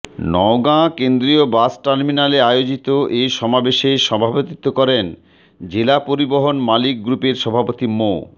নওগাঁ কেন্দ্রীয় বাস টার্মিনালে আয়োজিত এ সমাবেশে সভাপতিত্ব করেন জেলা পরিবহন মালিক গ্রুপের সভাপতি মো